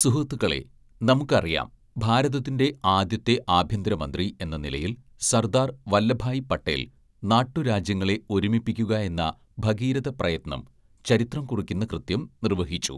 "സുഹൃത്തുക്കളേ, നമുക്കറിയാം, ഭാരതത്തിന്റെ ആദ്യത്തെ ആഭ്യന്തരമന്ത്രി എന്ന നിലയില്‍ സര്‍ദ്ദാര്‍ വല്ലഭായി പട്ടേല്‍, നാട്ടുരാജ്യങ്ങളെ ഒരുമിപ്പിക്കുകയെന്ന ഭഗീരഥപ്രയത്‌നം, ചരിത്രം കുറിക്കുന്ന കൃത്യം നിര്‍വഹിച്ചു. "